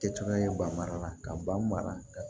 Kɛcogoya ye ba mara la ka ba mara